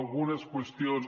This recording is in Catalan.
algunes qüestions